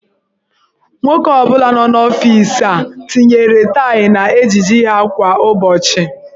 Nwoke ọ bụla nọ n'ọfiisi a tinyere taị n'ejiji ha kwa ụbọchị.